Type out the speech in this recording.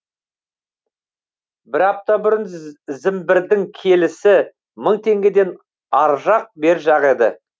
бір апта бұрын зімбірдің келісі мың теңгенің ар жақ бер жағы еді